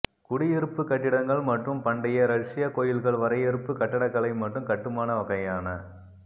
குடியிருப்பு கட்டிடங்கள் மற்றும் பண்டைய ரஷ்யா கோயில்கள் வரையறுப்பு கட்டடக்கலை மற்றும் கட்டுமான வகையான